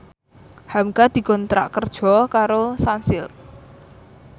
hamka dikontrak kerja karo Sunsilk